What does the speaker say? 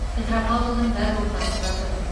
петропавлдың дәл ортасында тұр